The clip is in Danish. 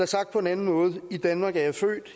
sagt på en anden måde i danmark er